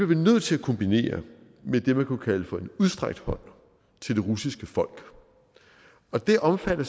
vi nødt til at kombinere med det man kunne kalde for en udstrakt hånd til det russiske folk og det omfatter